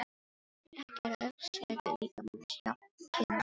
Ekki eru öll svæði líkamans jafn kynnæm.